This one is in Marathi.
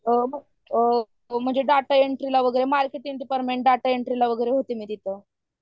म्हणजे डेटा एंट्री, मार्केटिंग डिपार्टमेंटला होते मी तिथं